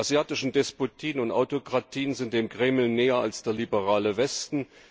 Die asiatischen Despotien und Autokratien sind dem Kreml näher als der liberale Westen.